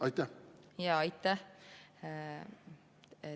Aitäh!